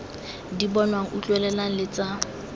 di bonwang utlwelelwang le tsa